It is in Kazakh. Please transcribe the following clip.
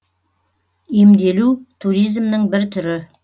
емделу туризмнің бір түрі